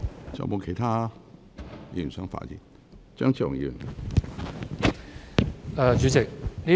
是否有其他議員想發言？